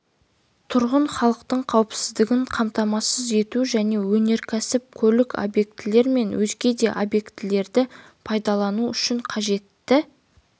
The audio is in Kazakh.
тұрғын халықтың қауіпсіздігін қамтамасыз ету және өнеркәсіп көлік объектілер мен өзге де объектілерді пайдалану үшін қажетті